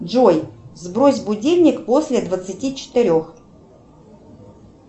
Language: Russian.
джой сбрось будильник после двадцати четырех